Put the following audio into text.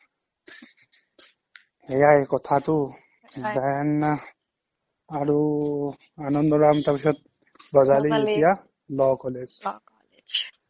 সেইয়াই কথাটো then আৰু আনন্দৰাম তাৰপিছত এতিয়া law কলেজ